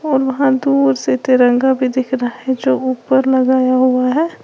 और वहां दूर से तिरंगा भी दिख रहा है जो ऊपर लगाया हुआ है।